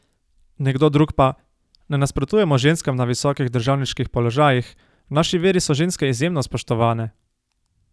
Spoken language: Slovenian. Nekdo drug pa: 'Ne nasprotujemo ženskam na visokih državniških položajih, v naši veri so ženske izjemno spoštovane.